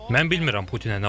Mən bilmirəm Putinə nə olub.